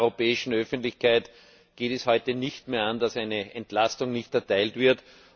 In der europäischen Öffentlichkeit geht es heute nicht mehr an, dass eine Entlastung nicht erteilt wird.